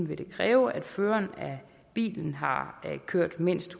vil det kræve at føreren af bilen har kørt mindst